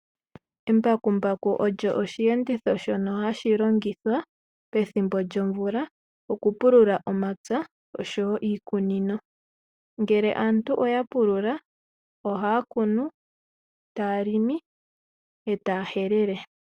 Embakumbaku olyo oshiyenditho sho o hashi longithwa pethimbo lyomvula oku pulula omapya, oshowo iikunino. Ngele aantu oya pulula ohaya kunu, taya longo etaya helele.